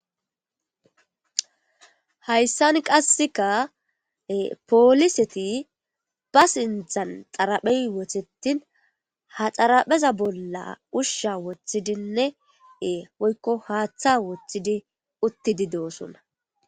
Hayssan qasseka pooliseti ba sinthan xaraphey wothetin ha xarapheza bolla ushsha wothidinnee woykko haaththa woththidi uttidi doosunna